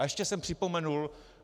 A ještě jsem připomenul.